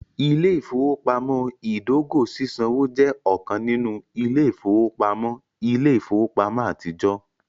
Ile-ifowopamọ idogo sisanwo jẹ ọkan ninu ile-ifowopamọ ile-ifowopamọ atijọ.